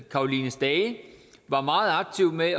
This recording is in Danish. caroline stage var meget aktiv med at